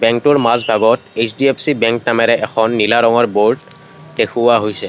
টোৰ মাজভাগত HDFC bank নামেৰে এখন নীলা ৰঙৰ ব'ৰ্ড দেখুওৱা হৈছে।